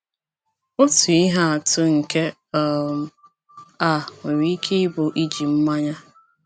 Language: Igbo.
Otu ihe atụ nke um a nwere ike ịbụ iji mmanya.